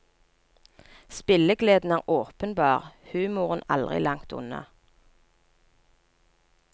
Spillegleden er åpenbar, humoren aldri langt unna.